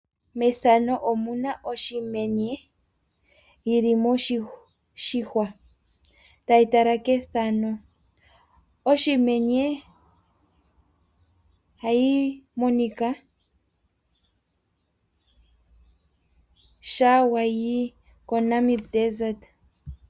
Methano omu na omenye yili moshihwa tayi tala kefano. Omenye hayi monika sha wayi koNamib desert.